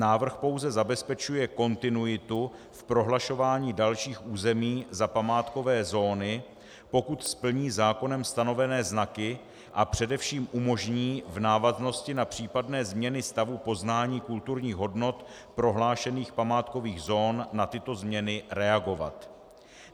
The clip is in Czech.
Návrh pouze zabezpečuje kontinuitu v prohlašování dalších území za památkové zóny, pokud splní zákonem stanovené znaky, a především umožní v návaznosti na případné změny stavu poznání kulturních hodnot prohlášených památkových zón na tyto změny reagovat.